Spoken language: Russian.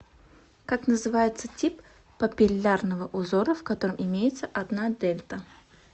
как называется тип папиллярного узора в котором имеется одна дельта